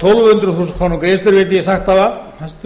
tólf hundruð þúsund króna greiðslur hæstvirtur